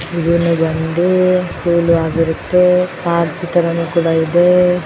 ಇದು ಬಂದು ಸ್ಕೂಲು ಆಗಿರುತ್ತೆ ಕೂಡ ಇದೆ.